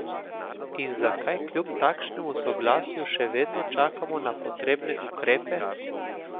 In zakaj kljub takšnemu soglasju še vedno čakamo na potrebne ukrepe?